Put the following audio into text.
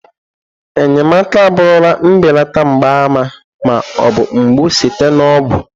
Enyemaka abụrụla mbelata mgbaàmà ma ọ bụ mgbu site na ọgwụ.